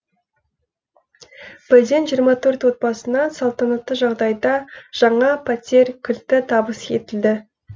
бірден жиырма төрт отбасына салтанатты жағдайда жаңа пәтер кілті табыс етілді